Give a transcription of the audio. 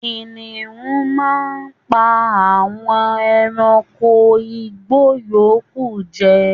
Kìnìún máà ń pa àwọn ẹranko igbó yòókù jẹ